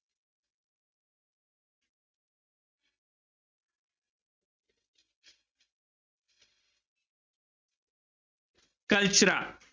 Cultura